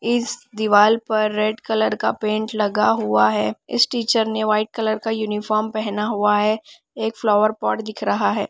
इस दीवाल पर रेड कलर का पेंट लगा हुआ है इस टीचर ने व्हाइट कलर का यूनिफॉर्म पेहना हुआ है एक फ्लावर पॉट दिख रहा है।